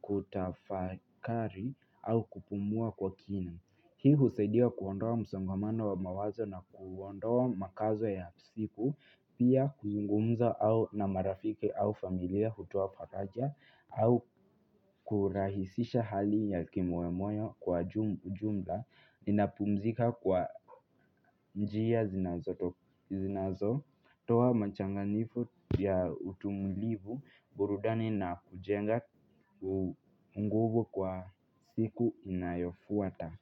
kutafakari au kupumua kwa kina Hii husaidia kuondoa msongamano wa mawazo na kuondoa makazo ya siku Pia kuzungumza au na marafiki au familia hutoa faraja au kurahisisha hali ya kimoyomoyo kwa jumla Inapumzika kwa njia zinazotoa machanganifu ya utumulivu burudani na kujenga nguvu kwa siku inayofuata.